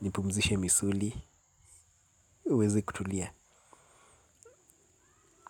nipumzishe misuli uweze kutulia.